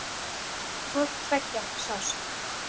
Hvort tveggja sást.